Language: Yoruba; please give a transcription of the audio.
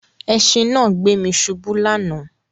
Ẹṣìn náà gbé mi ṣubu lánàá